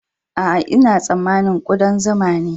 Aa, n'na samani kudan zuma ne.